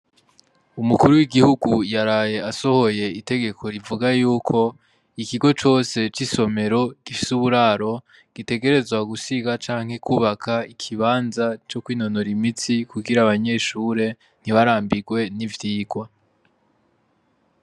Umukuru w'igihugu yaraye asohoye itegeko rivuga yuko ikigo cose c'isomero gifise uburaro gitegerezwa gusiga canke kwubaka ikibanza co kwinonora imitsi kugira abanyeshure ntibarambirwe n'ivyirwa.